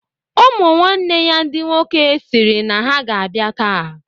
Ụmụ nwaane ya ndị nwoke sịrị na ha ga-abịa taa.